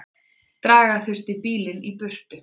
Draga þurfti bílinn í burtu.